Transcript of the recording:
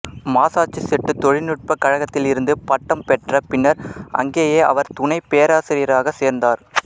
Massachusetts தொழில்நுட்பக் கழகத்தில் இருந்து பட்டம் பெற்ற பின்னர் அங்கேயே அவர் துணைப்பேராசிரியராகச் சேர்ந்தார்